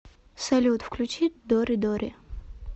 салют включи доридори